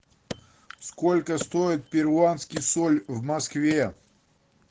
сколько стоит перуанский соль в москве